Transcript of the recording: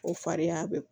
O fariya bɛ